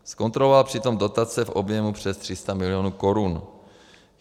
Zkontroloval přitom dotace v objemu přes 300 milionů korun.